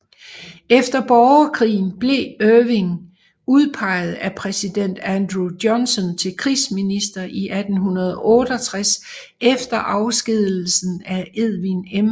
Efter borgerkrigen blev Ewing udpeget af præsident Andrew Johnson til Krigsminister i 1868 efter afskedigelsen af Edwin M